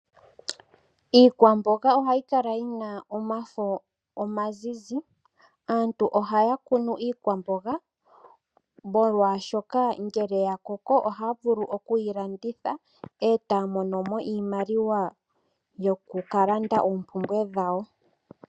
Iikwamboga ohayi kala yina omafo omazizi. Aantu ohaya kunu iikwamboga molwaashoka ngele yakoko ohaya vulu okuyi landitha etaya mono mo iimaliwa yokukalanda oompumbwe dhawo.